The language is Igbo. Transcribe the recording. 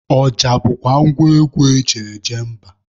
Ọja bụkwa ngwa egwu eji eje mba.